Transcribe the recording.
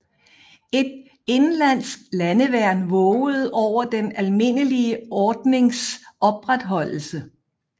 Et indenlandsk landeværn vågede over den almindelige ordnings opretholdelse